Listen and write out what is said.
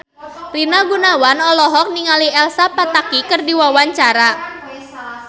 Rina Gunawan olohok ningali Elsa Pataky keur diwawancara